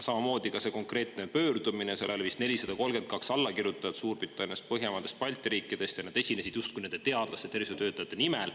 Sellel konkreetsel pöördumisel oli vist 432 allakirjutajat Suurbritanniast, Põhjamaadest ja Balti riikidest ning nad esinesid justkui teadlaste ja tervishoiutöötajate nimel.